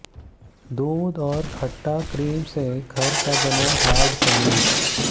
दूध और खट्टा क्रीम से घर का बना हार्ड पनीर